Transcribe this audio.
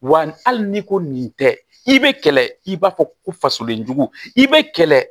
Wa hali n'i ko nin tɛ i be kɛlɛ i b'a fɔ ko fasolenjugu i be kɛlɛ